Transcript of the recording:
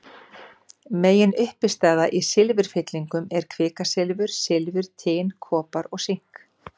Meginuppistaða í silfurfyllingum er kvikasilfur, silfur, tin, kopar og sink.